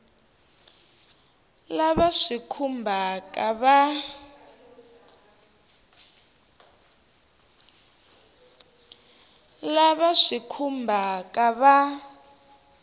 lava swi va khumbhaka va